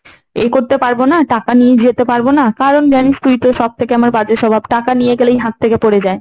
এ করতে পারব না, টাকা নিয়ে যেতে পারবো না, কারণ জানিস তুই তো সব থেকে আমার বাজে স্বভাব। টাকা নিয়ে গেলেই হাত থেকে পড়ে যায়।